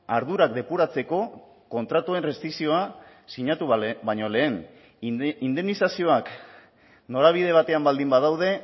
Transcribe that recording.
ardurak depuratzeko kontratuen rezizioa sinatu baino lehen indemnizazioak norabide batean baldin badaude